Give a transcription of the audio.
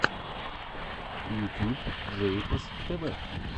ютюб джейпос тв